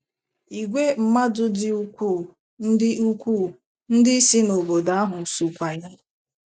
Ìgwè mmadụ dị ukwuu ndị ukwuu ndị si n’obodo ahụ sokwa ya. ”